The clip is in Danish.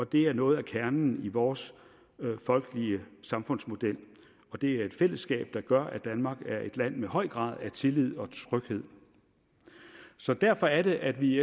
det er noget af kernen i vores folkelige samfundsmodel og det er et fællesskab der gør at danmark er et land med en høj grad af tillid og tryghed så derfor er det at vi i